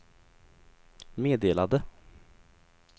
meddelade